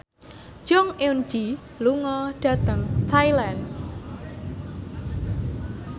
Jong Eun Ji lunga dhateng Thailand